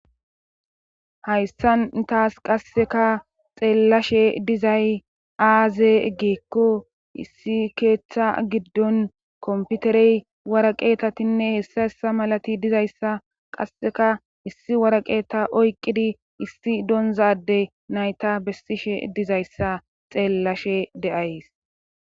Hayssan taas qasseka xeellashe dizay aaze geekko issi keeththa giddon komputerey waraqeetatinne hessa hessa malati dizayssa qasseka issi waraqeeta oyqqidi issi donzade nayta bessishe dizayssa xeellashe de7ays